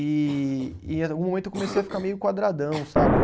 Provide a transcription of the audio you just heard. E, e em algum momento eu comecei a ficar meio quadradão, sabe?